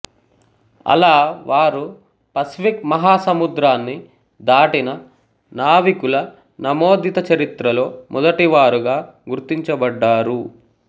అలా వారు పసిఫిక్ మహాసముద్రాన్ని దాటిన నావికుల నమోదితచరిత్రలో మొదటివారుగా గుర్తించబడ్డారు